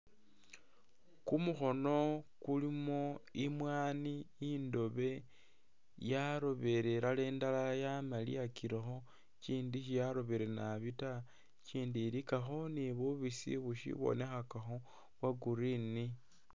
Kumukhono kulimo imwaani indobe, yarobele ilala indala yamaliyakilekho, ikindi sye yarobire nabi ta, ikindi ilikakho ni bubisi busibonekhakakho bwa green.